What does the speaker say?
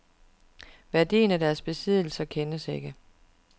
Værdien af deres besiddelser kendes ikke.